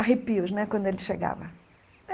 Arrepios né, quando ele chegava.